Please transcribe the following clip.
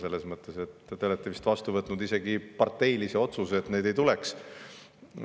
Selles mõttes, et te olete vist vastu võtnud isegi parteilise otsuse selle kohta, et neid ei tuleks.